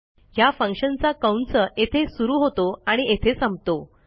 ह्या फंक्शनचा कंस येथे सुरू होतो आणि येथे संपतो